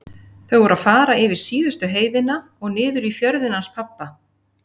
Þau voru að fara yfir síðustu heiðina og niður í fjörðinn hans pabba.